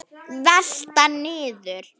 Velta niður.